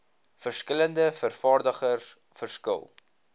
verskillende vervaardigers verskil